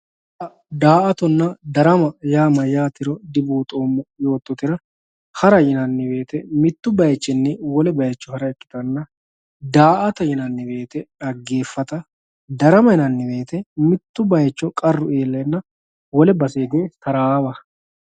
har, daa"atonna darama yaa mayaatero dibuuxoomo yoototera hara yinanni woyiite mittu bayiichinni wole bayiicho hara ikkittanna daa"ata yinanni woyiite xageefata darama yinanni woyiite mitto bayiicho qarru ileena wole base hige taraawa.